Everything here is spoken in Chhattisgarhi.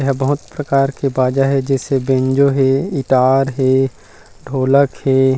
एह बहुत प्रकार के बजा है जैसे बैंजो है गिटार है ढोलक है।